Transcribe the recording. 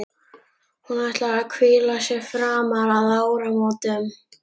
Hún ætlar að hvíla sig fram að áramótum.